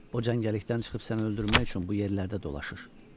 O cəngəllikdən çıxıb səni öldürmək üçün bu yerlərdə dolaşır.